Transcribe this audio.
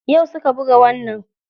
Yau suka buga wannan.